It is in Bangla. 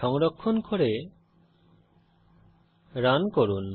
সংরক্ষণ করে রান করুন